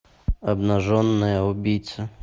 обнаженная убийца